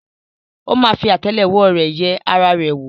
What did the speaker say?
ó ma fi àtẹ́lẹwọ́ rẹ̀ yẹ ara rẹ̀ wò.